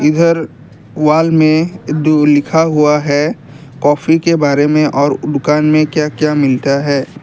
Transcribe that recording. इधर वॉल में जो लिखा हुआ है काफी के बारे में और वह दुकान में क्या क्या मिलता है।